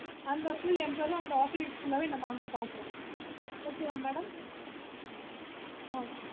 அந்த full empire ஆவே நம்ப அங்க பாக்குறோம் okay வா madam ஆஹ்